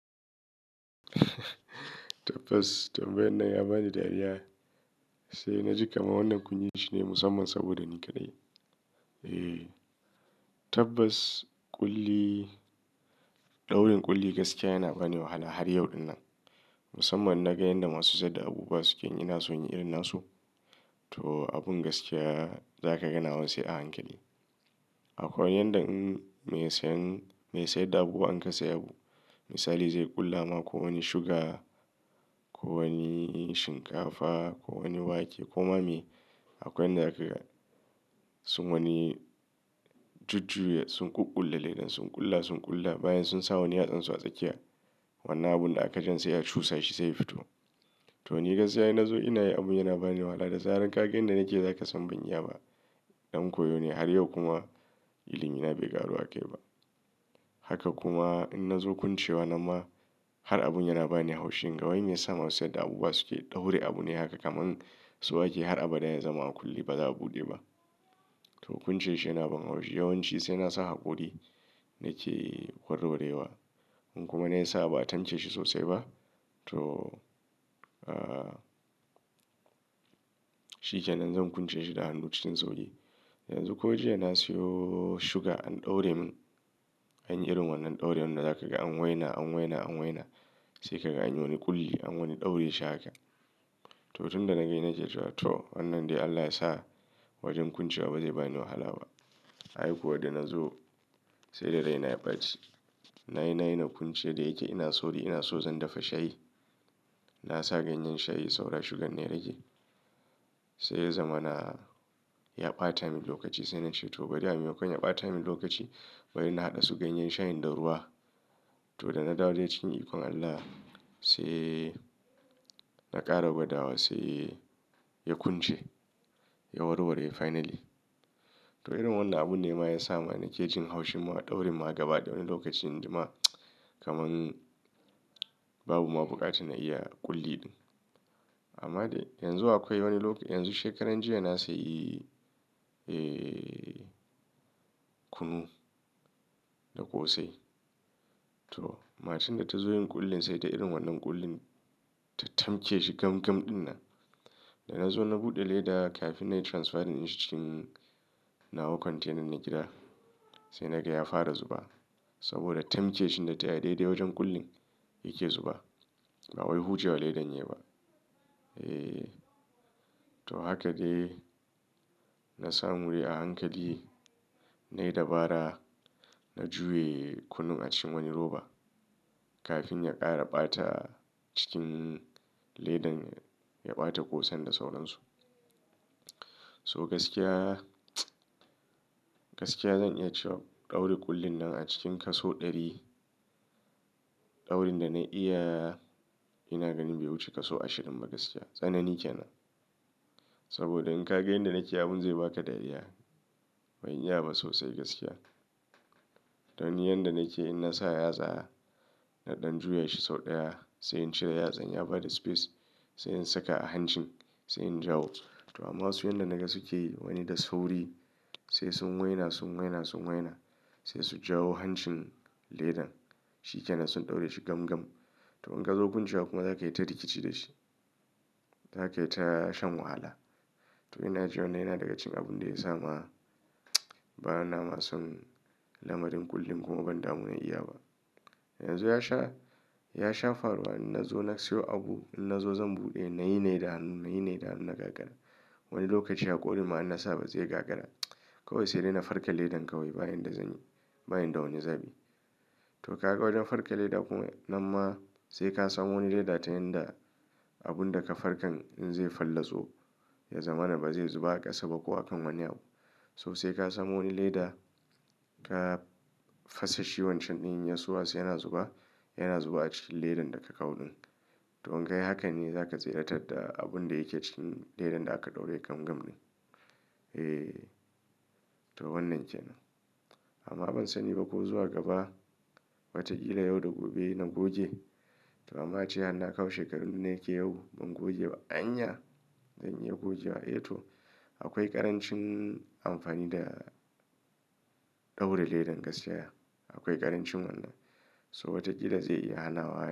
Tabbas tambayan nan ya bani dariya. Sai na ji kaman wannan kunyi shine musamman saboda ni kaɗai. Ehh, tabbas ƙulli, ɗaurin ƙulli gaskiya yana bani wahala har yau ɗinnan. Musamman naga yanda masu siyar da abubuwa suke yi in ina so in yi irin nasu. To abun gaskiya za ka ganawa sai a hankali. Akwai yanda in mai sayen, mai sayar da abu in ka sayi abu. Misali zai ƙulla ma ko wani suga, ko wani shinkafa, ko wani wake, ko ma miye. Akwai yanda zaka ga sun wani jujjuya sun ƙuƙƙule ledan sun ƙulla, sun ƙulla bayan sun sa wani yatsansu a tsakiya. Wannan abun da aka jan sai ya cusa shi sai ya fito. To ni gaskiya inna zo ina yin abun yana bani wahala da zaran kaga yan da nake yi za ka san ban iya ba. Ɗan koyo ne har yau kuma ilimi na bai ƙaru akai ba. Haka kuma in na zo kuncewa nan ma har abun yana bani haushi. Kai wai me yasa masu siyar da abubuwa suke ɗaure abu ne haka kamar so yake har abada ya zama a kulle ba za a buɗe ba. To kunce shi yana ban haushi yawanci sai nasa haƙori nake warwa rewa. In kuma na yi sa, a ba a tanke shi sosai ba to, shikenan zan ƙwance shi da hannu cikin sauƙi. Yanzu ko jiya na siyo suga an ɗaure min. Anyi irin wannan ɗaure wannan za ka ga an waina, an waina, an waina sai ka ga anyi wani ƙulli an wani ɗaure shi haka. To tun da na gan ina ke cewa to wannan dai Allah ya sa wajen ƙwancewa ba zai bani wahala ba. Ai kuwa da na zo sai da raina ya ɓaci. Na yi, na yi na kwance da yake ina sauri ina so zan dafa shayi. Na sa ganyen shayi saura suggan ne yarage. Sai ya zama na ya ɓata min lokaci sai na ce to bari a mema kon ya ɓata min lokaci bari na haɗa su ganyen shayin da ruwa. To da na dawadai cikin ikon Allah sai na ƙara gwada wa sai ya kwance, ya war ware finally. To irin wannan abun ne ma ya sa mane ke jin haushin ma ɗaurin ma gaba da wani lokaci inji ma kamar babu ma buƙatun na iya ƙulliɗin. Amma dai yanzu akwai wani lok-- yanzu shekaran jiya na sayi, eh kunu da ƙosai. To mashin da ta zo yin ƙullin sai ta irin wannan ƙullin ta tamke shi gam gam ɗinnan. Da na zo na buɗe leda kafin na transferin shi cikin nawa kwantenan na gida sai naga ya fara zuba saboda tamkeshin da ta yi daidai wajen ƙullin yake zuba. Ba wai hucewa ledan yayi ba. Ehh, to haka dai na samu wuri a hankali nayi dabara na juye kunun a cikin wani roba kafin ya ƙara ɓata cikin ledan ya ɓata ƙosan da sauransu. To gaskiya, gaskiya zan iya cewa ɗauri ƙullin nan a cikin kaso ɗari, ɗaurin da na iya ina ganin bai wuce kaso ashirin ba gaskiya. Tsanani kenan. Saboda in ka ga yanda nake abun zai ba ka dariya. Ban iya ba sosai gaskiya. Don yanda nake in na sa yatsa na ɗan juya shi sau ɗaya sai in cire yatsan ya bada space sai in saka a hancin sai in jawo. To amma su yanda naga suke yi wani da sauri sai sun waina, sun waina, sun waina sai su jawo hancin ledan shikenan sun ɗaure shi gam gam. To in ka zo kwancewa kuma za ka yi ta rikici da shi. Za ka yi ta shan wahala. To ina ji wannan yana daga cikin abun da ya sa ma bana ma son lamarin ƙullin kuma ban damu na iya ba. Yanzu ya sha, ya shafar wa in na zo na siyo abu in na zo zan buɗe na yi na yi da hannu, na yi na yi da hannu na gagara. Wani lokaci haƙorin ma in na sa ba zai gagara. Kawai sai dai na farka ledan kawai bayan da zanyi, bani da wani zabi. To ka ga wajen farka leda kuma nan ma sai ka san wani leda ta yanda abun da ka farkan in zai fallatso ya zama na ba zai zuba a ƙasa ba ko akan wani abu. So sai ka samo wani leda ka fasa shi wancan ɗin in ya suwaso yana zuba yana zuba a cikin ledan da ka kawo ɗin. To in kai hakan ne za ka tsira tar da abun da yake cikin ledan da aka ɗaure gam gam ɗin. Ehh, to wannan kenan. Amma ban sani ba ko zuwa gaba wataƙila yau da gobe na goge. To amma jiya na kawo shekaru nake yau ban goge ba. An ya? Zan iya goge wa? Eh to akwai ƙarancin amfani da ɗaura ledan gaskiya. Akwai ƙarancin wannan. So watakila zai iya hanawa.